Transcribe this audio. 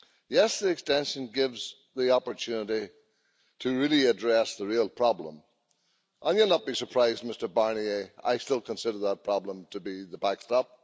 Yes, the extension gives the opportunity to really address the real problem and you'll not be surprised, Mr Barnier, I still consider that problem to be the backstop.